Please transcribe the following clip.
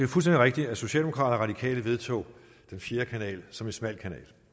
rigtigt at socialdemokraterne vedtog den fjerde kanal som en smal kanal